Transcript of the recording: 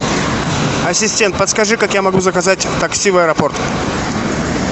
ассистент подскажи как я могу заказать такси в аэропорт